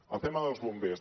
el tema dels bombers